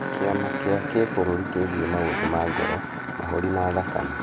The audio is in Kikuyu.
Kĩama kĩa kĩbũrũri kĩgie maũndũ ma ngoro, mahũri na thakame.